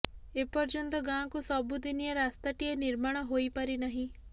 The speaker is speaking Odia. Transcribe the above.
ଏ ପର୍ଯ୍ୟନ୍ତ ଗାଁକୁ ସବୁଦିନିଆ ରାସ୍ତାଟିଏ ନିର୍ମାଣ ହୋଇପାରିି ନାହିଁ